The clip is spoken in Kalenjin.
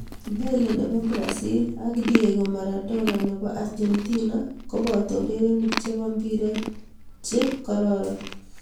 Pele ne bo Brazil ak Diego Maradona ne bo Argentina ko boto urerenik che bo mpiree che kororon.